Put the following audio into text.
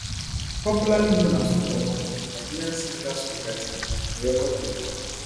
popularly known as twobaba na nigerian singer songwriters and record producer